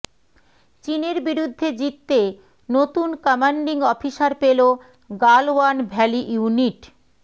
চিনের বিরুদ্ধে জিততে নতুন কম্যান্ডিং অফিসার পেল গালওয়ান ভ্যালি ইউনিট